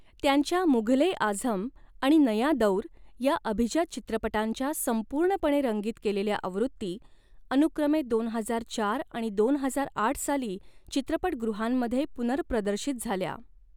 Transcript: त्यांच्या 'मुघल ए आझम' आणि 'नया दौर' या अभिजात चित्रपटांच्या संपूर्णपणे रंगीत केलेल्या आवृत्ती अनुक्रमे दोन हजार चार आणि दोन हजार आठ साली चित्रपटगृहांमध्ये पुनर्प्रदर्शित झाल्या.